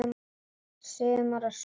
Sumar og sól.